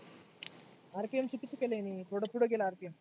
थोड पुढ गेलं आता.